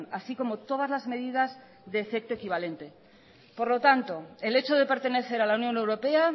así como todas las medidas de efecto equivalente por lo tanto el hecho de pertenecer a la unión europea